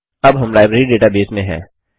अब हम library database में हैं